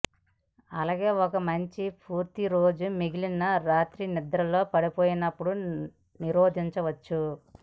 అలాగే ఒక మంచి పూర్తి రోజు మిగిలిన రాత్రి నిద్రలో పడిపోయినప్పుడు నిరోధించవచ్చు